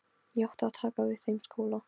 Ég átti að taka við þeim skóla.